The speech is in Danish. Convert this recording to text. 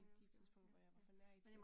Det har jeg også ja ja